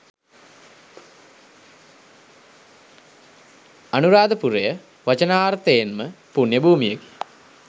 අනුරාධපුරය වචනාර්ථයෙන්ම පුණ්‍ය භූමියකි.